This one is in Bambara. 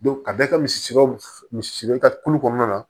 ka bɛɛ kɛ misikɛw misi siri ka kulu kɔnɔna na